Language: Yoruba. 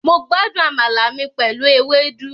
Mo gbádùn àmàlà mi pẹ̀lú ewédú